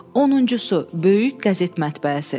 Onuncusu, böyük qəzet mətbəəsi.